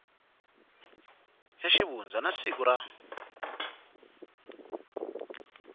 ya xivundza na siku ra